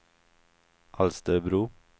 Alsterbro